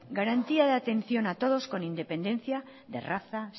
garantía de atención a todos con independencia de raza